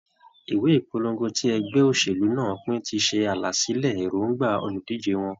Ìwé ìpolongo tí ẹgbẹ́ òṣèlú náà pín ti ṣe àlàsílẹ̀ èròǹgbà olùdíje wọn.